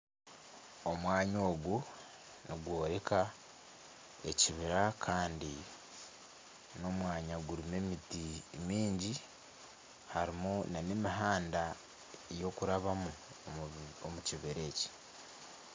Omwanya ogu nigworeka ekibira Kandi n'omwanya gurimu emiti mingi. Harimu na n'emihanda yokurabamu omukibira eki.